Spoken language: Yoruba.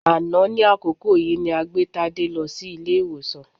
Àná ní àkókò yìí ni a gbé Tádé lọ sí ilé-ìwòsàn